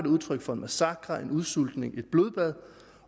udtryk for en massakre en udsultning et blodbad